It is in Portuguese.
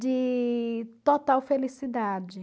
de total felicidade.